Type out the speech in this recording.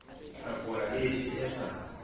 hlakola le efe e sa